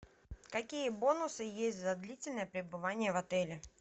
какие бонусы есть за длительное пребывание в отеле